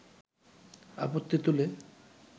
আপত্তি তুলে